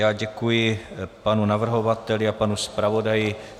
Já děkuji panu navrhovateli a panu zpravodaji.